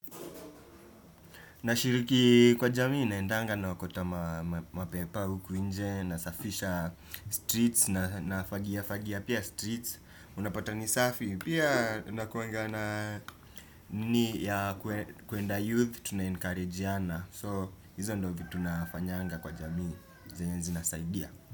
Nashiriki kwa jamii naendanga naokota mapepa huku nje nasafisha streets na nafagia fagia. Pia streets, unapata ni safi. Pia tunakuanga na nini ya kuenda youth, tuna encourage yana. So, hizo ndo vitu nafanyanga kwa jamii. Zenye zina saidia.